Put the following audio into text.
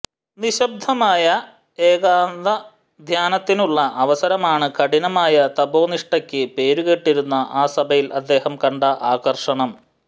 നിശ്ശബ്ദമായ ഏകാന്തധ്യാനത്തിനുള്ള അവസരമാണ് കഠിനമായ തപോനിഷ്ടക്ക് പേരുകേട്ടിരുന്ന ആ സഭയിൽ അദ്ദേഹം കണ്ട ആകർഷണം